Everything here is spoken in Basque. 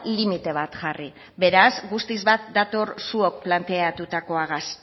limite bat jarri beraz guztiz bat dator zuok planteatuakoagaz